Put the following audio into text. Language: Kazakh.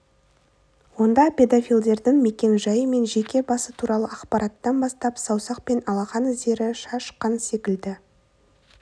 онда педофилдердің мекен-жайы мен жеке басы туралы ақпараттан бастап саусақ пен алақан іздері шаш қан секілді